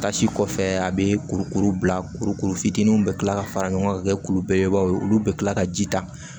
Tasi kɔfɛ a bɛ kurukuru bila kuru fitiininw bɛ kila ka fara ɲɔgɔn ka kɛ kulu belebeleba ye olu bɛ kila ka ji ta